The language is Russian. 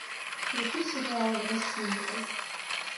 включи сериал росинка